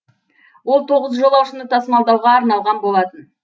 ол тоғыз жолаушыны тасымалдауға арналған болатын